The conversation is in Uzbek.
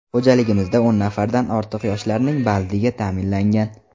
Xo‘jaligimizda o‘n nafardan ortiq yoshlarning bandligi ta’minlangan.